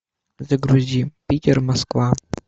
загрузи питер москва